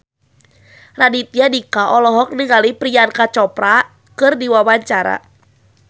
Raditya Dika olohok ningali Priyanka Chopra keur diwawancara